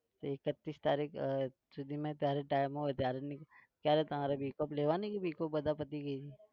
તો એકત્રીસ તારીખ સુધીમાં જયારે time હોય ત્યારે ક્યારે તમારે week off લેવાની કે week off બધા પતી ગઈ છે.